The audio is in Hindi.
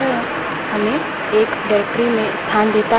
दूसरा variable home home है